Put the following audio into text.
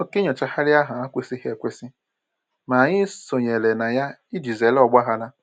Oke nnyochagharị ahụ ekwesịghị ekwesị, ma anyị sonyere na ya iji zere ọgbaghara